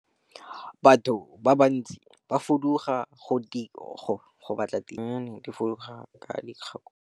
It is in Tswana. Batho ba bantsi ba fuduga go batla tiro, dinonyane di fuduga ka dikgakologo.